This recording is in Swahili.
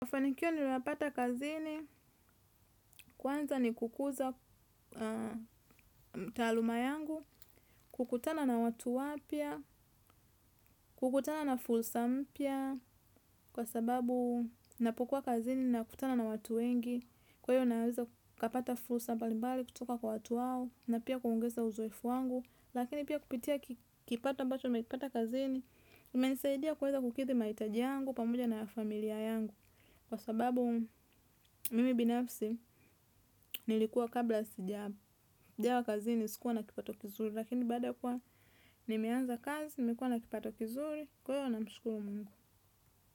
Mafanikio nimeyapata kazini kwanza ni kukuza taaluma yangu kukutana na watu wapya kukutana na fursa mpya kwa sababu ninapokua kazini nakutana na watu wengi, kwa hiyo naweza kapata fursa mbali mbali kutoka kwa watu wao, na pia kuongeza uzoefu wangu, lakini pia kupitia kipato ambacho nimekipata kazini, kimenisaidia kuweza kukithi mahitaji yangu pamoja na ya familia yangu. Kwa sababu mimi binafsi nilikuwa kabla sijawa kazi sikuwa na kipato kizuri. Lakini baada kuwa nimeanza kazi nimekua na kipato kizuri kwa hio namshukuru Mungu.